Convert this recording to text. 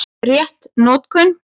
Rétt notkun